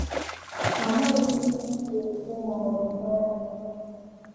Amaghị m ihe m ga - ekwu ma ọ bụ mee mee.